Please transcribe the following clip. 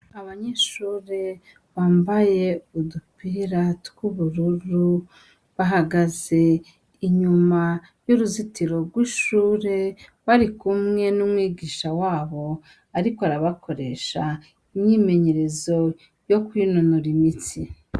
Abanyeshure bambaye udupira tw' ubururu bahagaze inyuma y' uruzitiro rw' ishure barikumwe n' umwigisha wabo ariko arabakoresha imyimenyerezo yo kwinonora imitsi.